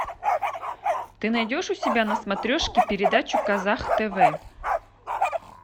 ты найдешь у себя на смотрешке передачу казах тв